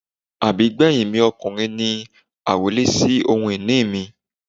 Àbígbẹ́yìn mi ọkùnrin ni àrólé sì ohun ìní mi.